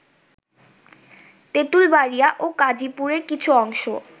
তেতুল বাড়িয়া ও কাজিপুরের কিছু অংশ